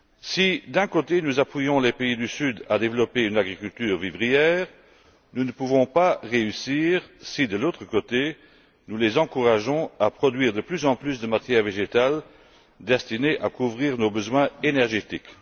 Si, d'un côté, nous engageons les pays du Sud à développer une agriculture vivrière, nous ne pouvons pas réussir si, de l'autre, nous les encourageons à produire de plus en plus de matières végétales destinées à couvrir nos besoins énergétiques.